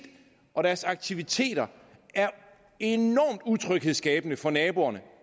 og deres aktiviteter er enormt utryghedsskabende for naboerne